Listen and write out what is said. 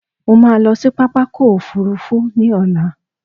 Mo máa lọ sí pápákọ̀ òfurufú ní ọ̀la